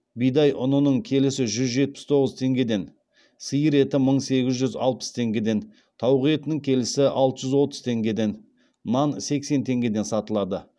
бидай ұнының келісі жүз жетпіс тоғыз теңгеден сиыр еті мың сегіз жүз алпыс теңгеден тауық етінің келісі алты жүз отыз теңгеден нан сексен теңгеден сатылады